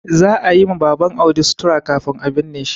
Za a yi ma Baban Audi sutura kafin a binne shi.